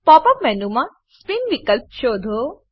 pop up મેનુમાં spin વિકલ્પ શોધો